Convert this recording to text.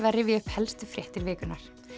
að rifja upp helstu fréttir vikunnar